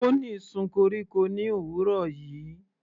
Bonny sun koríko ní òwúrọ̀ yìí.